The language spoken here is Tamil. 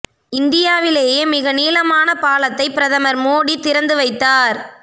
இந்தியாவிலேயே மிக நீளமான பாலத்தை பிரதமர் மோடி திறந்து வைத்தார்